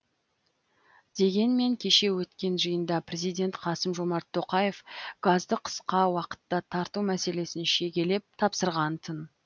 дегенмен кеше өткен жиында президент қасым жомарт тоқаев газды қысқа уақытта тарту мәселесін шегелеп тапсырғантын